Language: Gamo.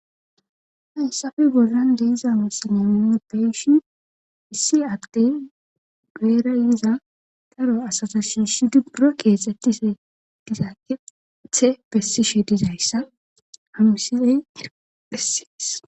hayssafe bollan de7iza misilen nu beyishin issi addey guyeera iza daro asata shiishi buro keexxettishe diza keththe bessishe dizayssa habmisileyh bessees